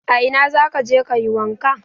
A ina za ka je ka yi wanka?